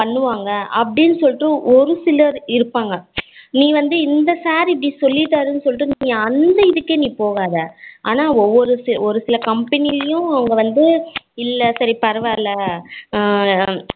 பண்ணுவாங்க அப்படினு சொல்லிட்டு ஒரு சிலர் இருப்பாங்க நீ வந்து இந்த sir இப்படி சொல்லிட்டாருணு சொல்லிட்டு நீ அந்த இதுக்கே நீ போகாத ஆனா ஒரு சில company லயும் அவங்க வந்து இல்லை சரி பரவாயில்ல ஹம்